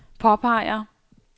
påpeger